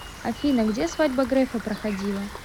афина где свадьба грефа проходила